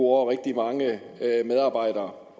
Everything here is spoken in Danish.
over rigtig mange medarbejdere